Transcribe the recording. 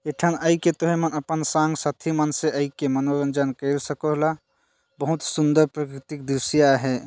ए ठन आई के तुय मन अपन संग साथी मन से आई के मनोरंजन कर सकोला हुत सुंदर प्रकृति दृश्य हैं।